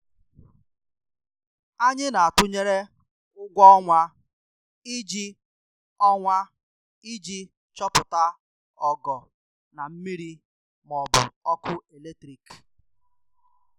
Anyị na-atụnyere ụgwọ ọnwa iji ọnwa iji chọpụta ọgọ na mmiri ma ọ bụ ọkụ eletrik.